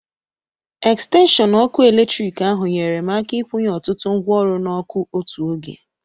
extenshịọn ọkụ eletrik ahụ nyeere m aka ịkwunye ọtụtụ ngwaọrụ n'ọku otu oge